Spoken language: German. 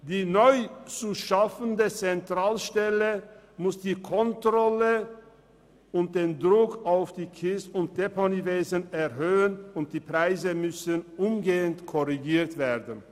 Die neu zu schaffende Zentralstelle muss die Kontrolle und den Druck auf das Kies- und Deponiewesen erhöhen, und die Preise müssen umgehend korrigiert werden.